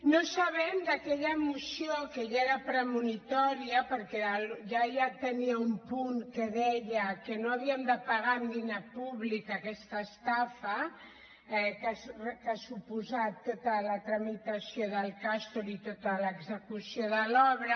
no sabem d’aquella moció que ja era premonitòria perquè ja tenia un punt que deia que no havíem de pagar amb diner públic aquesta estafa que ha suposat tota la tramitació del castor i tota l’execució de l’obra